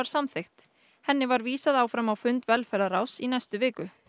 samþykkt henni var vísað áfram á fund velferðarráðs í næstu viku